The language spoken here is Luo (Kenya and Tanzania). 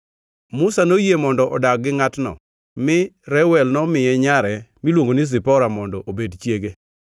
Musa noyie mondo odag gi ngʼatno, mi Reuel nomiye nyare miluongo ni Zipora mondo obed chiege.